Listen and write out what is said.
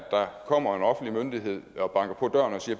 det vil